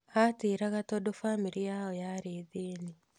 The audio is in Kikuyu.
Atĩĩraga tondũ bamĩrĩ yao yarĩ thĩĩni.